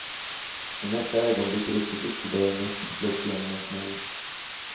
I nästa ögonblick rycktes ytterdörren upp och slogs igen med en smäll.